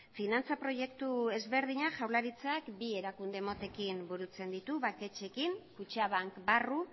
finantza proiektu ezberdinak jaurlaritzak bi erakunde motekin burutzen ditu banketxeekin kutxabank barru